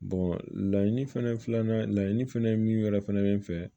laɲini fɛnɛ ye filanan laɲini fɛnɛ ye min yɛrɛ fɛnɛ bɛ n fɛ